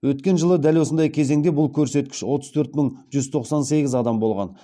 өткен жылы дәл осындай кезеңде бұл көрсеткіш отыз төрт мың жүз тоқсан сегіз адам болған